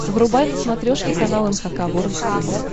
врубай на смотрешке канал эн эйч кей волд ти ви